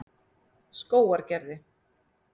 Skógargerði